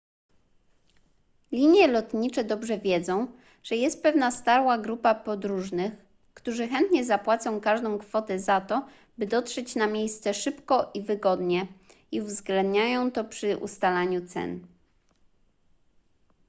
linie lotnicze dobrze wiedzą że jest pewna stała grupa podróżnych którzy chętnie zapłacą każdą kwotę za to by dotrzeć na miejsce szybko i wygodnie i uwzględniają to przy ustalaniu cen